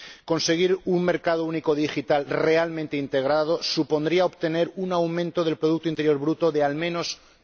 Conseguir un mercado único digital realmente integrado supondría obtener un aumento del producto interior bruto de, al menos, un